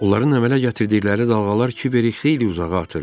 Onların əmələ gətirdikləri dalğalar Kiberi xeyli uzağa atırdı.